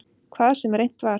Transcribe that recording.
Hvað sem reynt var.